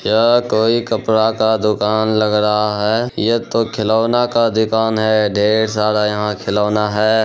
यह कोई कपड़ा का दुकान लग रहा है। ये तो खिलौना का दुकान है। ढेर सारा यहाँ खिलौना है।